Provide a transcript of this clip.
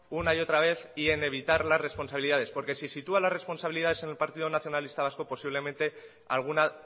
una y otra vez y en evitar las responsabilidades porque si sitúa la responsabilidad en el partido nacionalista vasco posiblemente alguna